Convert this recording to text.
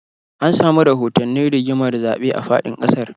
An samu rahotannin rigimar zaɓe a faɗin ƙasar